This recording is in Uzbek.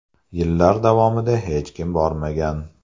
Yillar davomida hech kim bormagan.